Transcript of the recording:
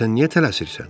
Sən niyə tələsirsən?